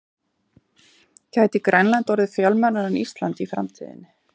Gæti Grænland orðið fjölmennara en Ísland í framtíðinni?